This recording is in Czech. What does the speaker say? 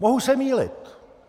Mohu se mýlit.